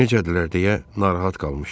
Necədirlər deyə narahat qalmışdım.